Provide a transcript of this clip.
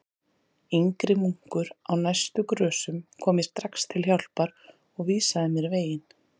Yngri munkur á næstu grösum kom mér strax til hjálpar og vísaði mér veginn.